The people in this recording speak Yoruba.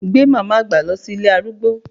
Gbé mama àgbà lọ sí ilé arúgbó!